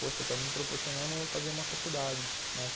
Poxa, estão me proporcionando fazer uma faculdade, né.